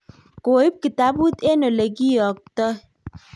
koib kitabut eng' ole kiotoi